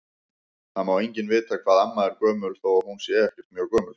Það má enginn vita hvað amma er gömul þó að hún sé ekkert mjög gömul.